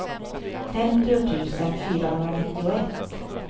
femtio tusen fyrahundranittioett